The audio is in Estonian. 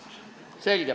Selge!